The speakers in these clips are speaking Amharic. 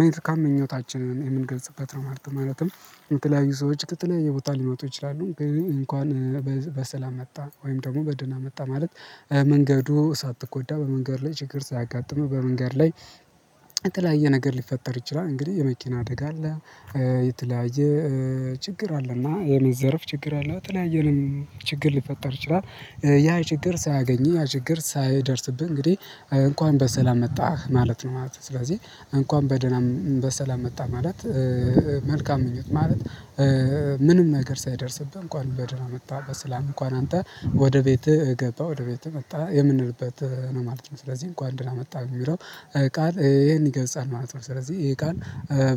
መልካም ምኞታችንን የምንገልጽበት ነው ማለት ነው። ማለትም የተለያዩ ሰዎች ከተለያየ ቦታ ሊመጡ ይችላሉ ግን እንኳን በሰላም መጣ ወይም ደግሞ በደና መጣ ማለት መንገዱ ሳትጎዳ በመንገድ ላይ ችግር ሳያጋጥምህ በመንገድ ላይ የተለያየ ነገር ሊፈጠር ይችላል። እንግዲህ የመኪና አደጋ አለ የተለያየ ችግር አለና የመዘረፍ ችግር አለው የተለያየንም ችግር ልፈጠር ይችላል። ያ ችግር ሳያገኝ ያ ችግር ሳይደርስብህ እንግዲህ እንኳን በሰላም መጣህ ማለት ነው ማለት ነው። ስለዚህ እንኳን በደና በሰላም መጣህ ማለት መልካም ምኞት ማለት ምንም ነገር ሳይደርስብህ እንኳን በደህና መጣህ በሰላም እንኳን አንተ ወደ ቤትህ ገባ ወደ ቤትህ መጣህ የምንልበት ነው ማለት ነው። ስለዚህ እንኳን ደህና መጣ የሚለው ቃል ይሄን ይገልጻል ማለት ነው። ስለዚህ ይሄ ቃል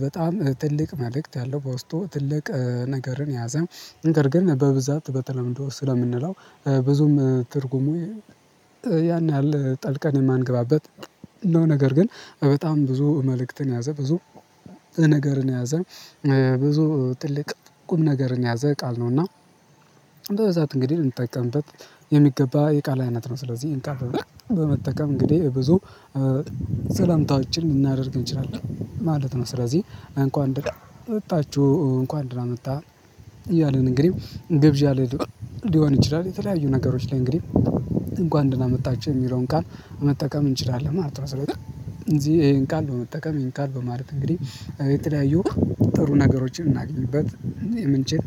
በጣም ትልቅ መልእክት ያለው በውስጡ ትልቅ ነገርን የያዘ ነገር ግን በብዛት በተለምዶ ስለምንለው ብዙም ትርጉሙ ያን ያህል ጠልቀን የማንገባበት ነው። ነገር ግን በጣም ብዙ መልእክትን የያዛ ብዙ ነገርን የያዘ ብዙ ትልቅ ቁም ነገርን የያዘ ቃል ነውና። በብዛት እንግዲህ ልንጠቀምበት የሚገባ የቃል አይነት ነው። ስለዚህ ይህን ቃል በመጠቀም እንግዲህ ብዙ ሰላምታዎችን ልናደርግ እንችላለን ማለት ነው። ስለዚህ እንኳን ደና መጣችሁ እንኳን ደና መጣህ እያልን እንግዲህ ግብዣ ሊሆን ይችላል የተለያዩ ነገሮች ላይ እንግዲህ እንኳን ደና መጣችኝ የሚለውን ቃል መጠቀም እንችላለን ማለት ነው። ስለዚህ እዚህ ይሄን ቃል በመጠቀም ይሄን ቃል በማለት እንግዲህ የተለያዩ ጥሩ ነገሮችን እናገኝበት የምንችል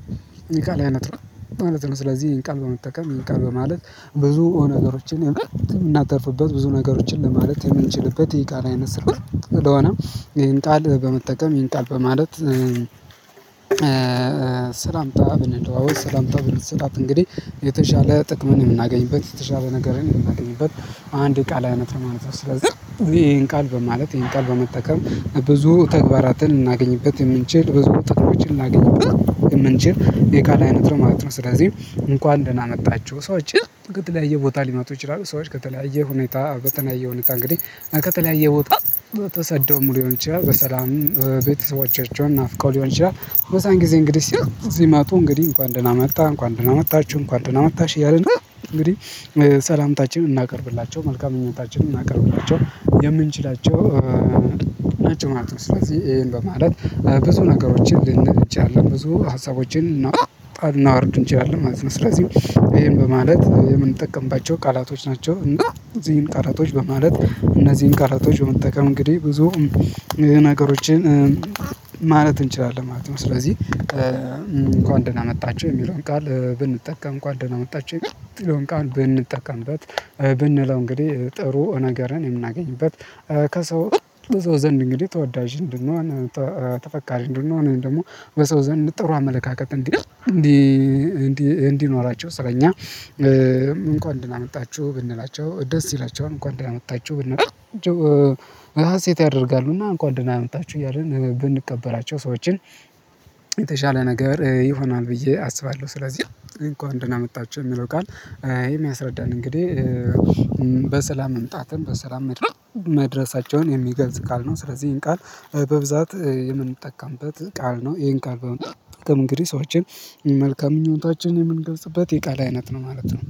የቃል አይነት ነው ማለት ነው። ስለዚህ ይህን ቃል በመጠቀም ይህን ቃል በማለት ብዙ ነገሮችን የምናተርፍበት ብዙ ነገሮችን ለማለት የምንችልበት ይሄ ቃል አይነት ስልሆነ ይሄን ቃል በመጠቀም ይሄን ቃል በማለት ሰላምታ ብንለዋወጥ ሰላምታ ብንሰጣጥ እንግዲህ የተሻለ ጥቅም የምናገኝበት የተሻለ ነገር የምናገኝበት አንድ የቃል አይነት ነው ማለት ነው። ስለዚህ ይሄን ቃል በማለት ይሄን ቃል በመጠቀም ብዙ ተግባራትን ልናገኝበት የምንችል ብዙ ጥቅሞኝ ልናገኝበት የምንችል የቃላ አይነት ነው ማለት ነው። ስለዚህ እንኳን ደህና መጣችሁ ሰዎች ከተለያየ ቦታ ሊመጡ ይችላሉ ሰዎች ከተለያየ ሁኔታ በተለያየ ሁኔታ እንግዲህ ከተለያየ ቦታ ተሰደውም ልሆን ይችላል በሰላም ቤተሰቦቻቸውን ናፍቀው ሊሆን ይችላል። በዛን ጊዜ እንግዲህ ሲመጡ እንግዲህ እንኳን ደህና መጣ እንኳን ደህና መጣችሁ እንኳን ደህና መጣሽ እያልን እንግዲህ ሰላምታችንን ልናቀርብላቸው መልካም ምኞታችንን ልናቀርብላቸው የምንችላቸው ናቸው ማለት ነው። ስለዚህ ይሄን በማለት ብዙ ነገሮችን ልንል እንችላለን ብዙ ሀሳቦችን ልናወጣ ልናወርድ እንችላለን ማለት ነው። ስለዚህ ይሄን በማለት የምንጠቀምባቸው ቃላቶች ናቸው እና እነዚህን ቃላቶች በማለት እነዚህን ቃላቶች በመጠቀም እንግዲህ ብዙ ነገሮችን ማለት እንችላለን ማለት ነው። ስለዚህ እንኳን ደህና መጣችኝ የሚለውን ቃል ብንጠቀም እንኳን ደህና መጣችኝ የምለውን ብንጠቀምበት ብንለው እንግዲህ ጥሩ ነገርን የምናገኝበት። ከሰው በሰው ዘንድ እንግዲህ ተወዳጅ እንድንሆን ተፈቃሪ እንድንሆን ደግሞ በሰው ዘንድ ጥሩ አመለካከት እንዲህ እንዲኖራቸው ስለኛ እንኳን ደህና መጣችሁ ብንላችሁ ደስ ይላችኋል። እንኳን ደህና መጣችሁ ብንላቸው ሀሴት ያደርጋሉ እና እንኳን ደህና መጣችሁ እያልን ብንቀበላቸው ሰዎችን የተሻለ ነገር ይሆናል ብዬ አስባለሁ። ስለዚህ እንኳን ደህና መጣችሁ የሚለው ቃል የሚያስረዳን እንግዲህ በሰላም መምጣትም በሰላም መድረስ መድረሳቸውን የሚገልጽ ቃል ነው። ስለዚህ ይሄን ቃል በብዛት የምንጠቀምበት ቃል ነው። ይሄን ቃል በመጠቀም እንግዲህ ሰዎችን መልካም ምኞታችንን የምንገልጽበት የቃል አይነት ነው ማለት ነው።